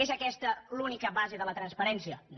és aquesta l’única base de la transparència no